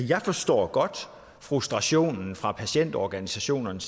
jeg forstår godt frustrationen fra patientorganisationerne